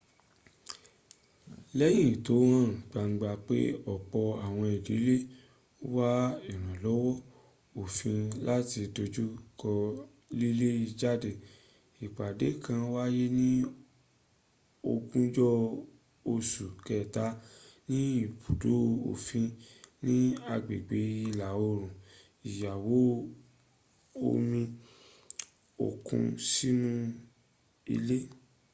lẹ́yìn tó hàn gbangba pé ọ̀pọ̀ àwọn ìdílé ń wá ìrànlọ́wọ́ òfin láti dojúkọ lílé jáde ìpàdé kàn wáyé ní ogúnjọ́ oṣù kẹta ní ibùdó òfin ni agbègbè ìlà-òòrùn ìyáwó omi òkun sínú ilé